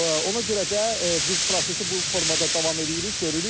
Ona görə də biz prosesi bu formada davam eləyirik, görürük.